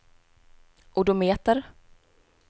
odometer